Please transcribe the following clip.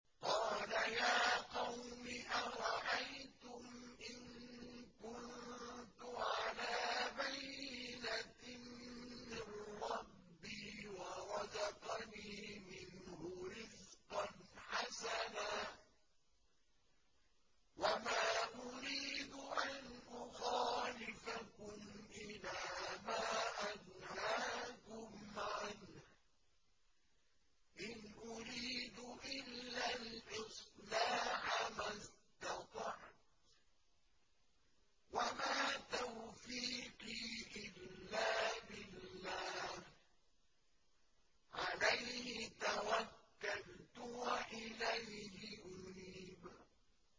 قَالَ يَا قَوْمِ أَرَأَيْتُمْ إِن كُنتُ عَلَىٰ بَيِّنَةٍ مِّن رَّبِّي وَرَزَقَنِي مِنْهُ رِزْقًا حَسَنًا ۚ وَمَا أُرِيدُ أَنْ أُخَالِفَكُمْ إِلَىٰ مَا أَنْهَاكُمْ عَنْهُ ۚ إِنْ أُرِيدُ إِلَّا الْإِصْلَاحَ مَا اسْتَطَعْتُ ۚ وَمَا تَوْفِيقِي إِلَّا بِاللَّهِ ۚ عَلَيْهِ تَوَكَّلْتُ وَإِلَيْهِ أُنِيبُ